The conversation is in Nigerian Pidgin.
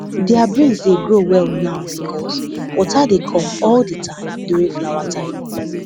their beans dey grow well now because water dey come all the time during flower time